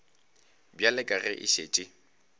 bjale ka ge a šetše